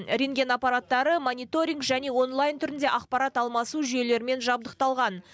рентген аппараттары мониторинг және онлайн түрінде ақпарат алмасу жүйелерімен жабдықталған